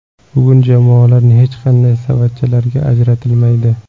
Bugun jamoalar hech qanday savatchalarga ajratilmaydi.